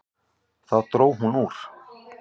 Þá dró hún úr.